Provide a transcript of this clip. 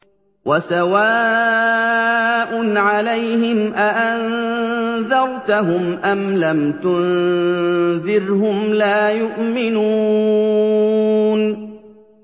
وَسَوَاءٌ عَلَيْهِمْ أَأَنذَرْتَهُمْ أَمْ لَمْ تُنذِرْهُمْ لَا يُؤْمِنُونَ